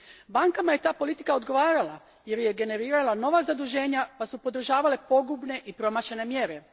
Bankama je ta politika odgovarala, jer je generirala nova zaduženja pa su podržavale pogubne i promašene mjere.